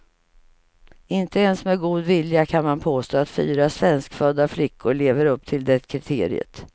Inte ens med god vilja kan man påstå att fyra svenskfödda flickor lever upp till det kriteriet.